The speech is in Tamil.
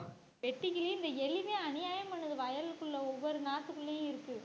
வெட்டுகிழி இந்த எலி தான் அநியாயம் பண்ணுது வயலுக்குள்ள ஒவ்வொரு நாத்துக்குள்ளேயும் இருக்கு.